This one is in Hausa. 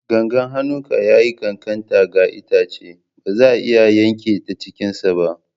Gangan hannunka ya yi ƙanƙanta ga itace, ba zai iya yanke ta cikinsa ba.